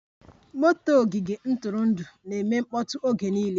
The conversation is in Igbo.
Motor ogige ntụrụndụ na-mgbe niile mkpọtụ